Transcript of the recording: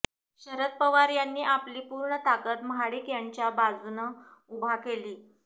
शरद पवार यांनी आपली पूर्ण ताकद महाडिक यांच्या बाजूनं उभा केली